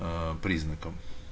аа признаком